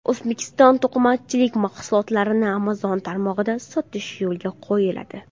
O‘zbekiston to‘qimachilik mahsulotlarini Amazon tarmog‘ida sotish yo‘lga qo‘yiladi.